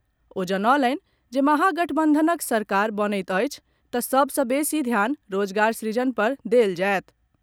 ओ जनौलनि जे महागठबंधनक सरकार बनैत अछि तऽ सभ सँ बेसी ध्यान रोजगार सृजन पर देल जायत।